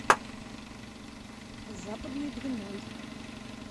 западной двиной